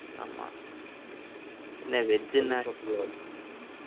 ஆமா என்ன veg என்ன